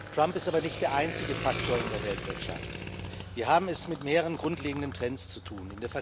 Trump ist aber nicht der einzige Faktor in der Weltwirtschaft. Wir haben es mit mehreren grundlegenden Trends zu tun.